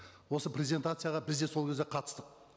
осы презентацияға біз де сол кезде қатыстық